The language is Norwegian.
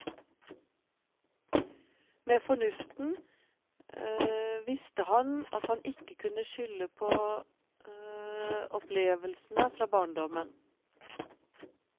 Med fornuften visste han at han ikke kunne skylde på opplevelsene fra barndommen.